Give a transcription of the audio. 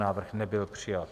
Návrh nebyl přijat.